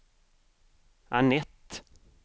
Anette